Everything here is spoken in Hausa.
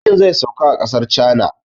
Jirgin zai sauka a ƙasar cana